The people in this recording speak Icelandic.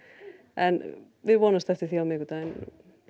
en við vonumst eftir því á miðvikudaginn